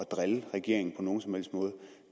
drille regeringen på nogen som helst måde